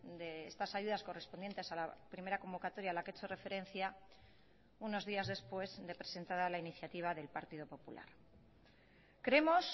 de estas ayudas correspondientes a la primera convocatoria a la que he hecho referencia unos días después de presentada la iniciativa del partido popular creemos